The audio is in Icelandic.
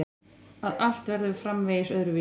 Að allt verður framvegis öðruvísi.